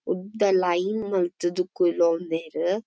ಉದ್ದ ಲೈನ್ ಮಲ್ತ್ ದ್ ಕುಲೋಂದೆರ್.